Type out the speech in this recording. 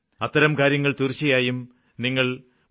അത്തരം കാര്യങ്ങള് തീര്ച്ചയായും നിങ്ങള് mygov